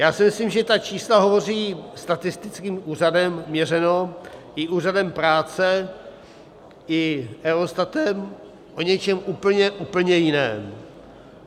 Já si myslím, že ta čísla hovoří, statistickým úřadem měřeno i Úřadem práce i Eurostatem, o něčem úplně, úplně jiném.